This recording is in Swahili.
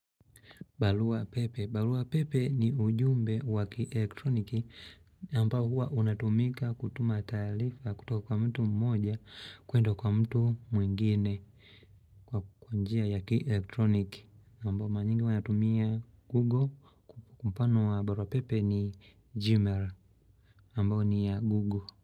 Barua pepe. Barua pepe ni ujumbe wa kielectroniki ambao huwa unatumika kutuma taarifa kutoka kwa mtu mmoja kuenda kwa mtu mwingine kwa njia ya kielectroniki ambayo mara nyingi wanatumia google kwa mfano wa barua pepe ni gmail ambao ni ya google.